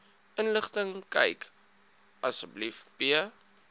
inligtingkyk asb p